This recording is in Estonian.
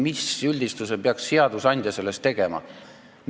Mis üldistuse peaks seadusandja sellest tegema?